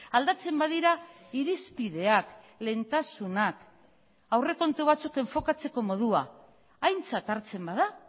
aldatzen badira irizpideak lehentasunak aurrekontu batzuk enfokatzeko modua aintzat hartzen bada